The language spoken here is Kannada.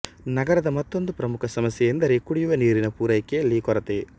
ನಗರದ ಮತ್ತೊಂದು ಪ್ರಮುಖ ಸಮಸ್ಯೆಯೆಂದರೆ ಕುಡಿಯುವ ನೀರಿನ ಪೂರೈಕೆಯಲ್ಲಿ ಕೊರತೆ